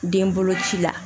Den bolo ci la